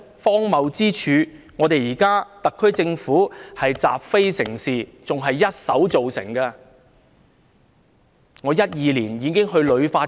荒謬之處是現時特區政府習非成是，這種情況更是它一手造成的。